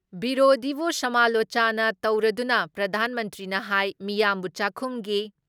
ꯕꯤꯔꯣꯙꯤꯕꯨ ꯁꯃꯥꯂꯣꯆꯅ ꯇꯧꯔꯗꯨꯅ ꯄ꯭ꯔꯗꯥꯟ ꯃꯟꯇ꯭ꯔꯤꯅ ꯍꯥꯏ ꯃꯤꯌꯥꯝꯕꯨ ꯆꯥꯛꯈꯨꯝꯒꯤ